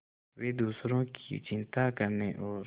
वे दूसरों की चिंता करने और